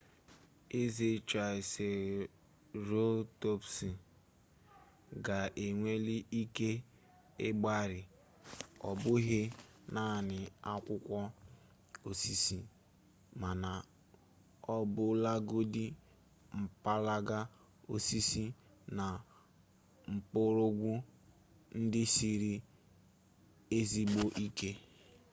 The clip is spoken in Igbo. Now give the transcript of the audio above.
eze traịserotọpsụ ga-enweli ike ịgbari ọ bụghị naanị akwụkwọ osisi mana ọbụlagodi mpalaga osisi na mgbọrọgwụ ndị siri ezigbo ike